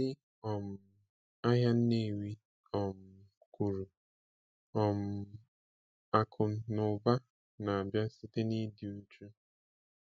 Ndị um ahịa Nnewi um kwuru: um “Akụ na ụba na-abịa site n'ịdị uchu.”